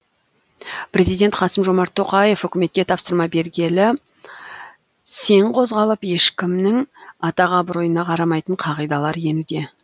президент қасым жомарт тоқаев үкіметке тапсырма бергелі сең қозғалып ешкімнің атақ абыройына қарамайтын қағидалар енуде